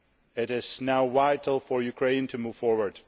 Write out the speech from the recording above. It is now vital for Ukraine to move forward.